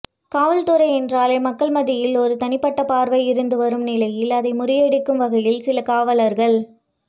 காவல்துறை என்றாலே மக்கள் மத்தியில் ஒரு தனிப்பட்ட பார்வை இருந்துவரும் நிலையில் அதை முறியடிக்கும் வகையில் சில காவலர்கள்